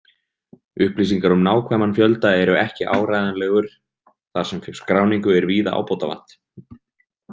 Upplýsingar um nákvæman fjölda eru ekki áreiðanlegur þar sem skráningu er víða ábótavant.